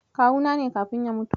Kawuna ne kafin ya mutu.